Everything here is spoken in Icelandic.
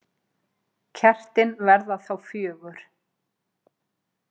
Kertin verða þá fjögur.